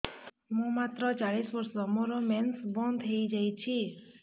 ମୁଁ ମାତ୍ର ଚାଳିଶ ବର୍ଷ ମୋର ମେନ୍ସ ବନ୍ଦ ହେଇଯାଇଛି